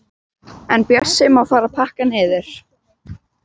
En Bjössi má fara að pakka niður.